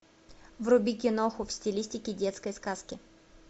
вруби киноху в стилистике детской сказки